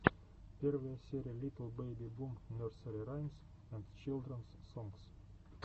первая серия литл бэби бум нерсери раймс энд чилдренс сонгс